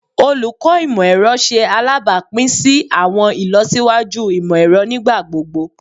Olukọ Imọ-ẹrọ ṣe alabapin si awọn ilọsiwaju imọ-ẹrọ nigbagbogbo